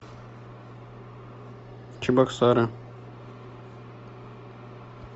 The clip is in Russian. чебоксары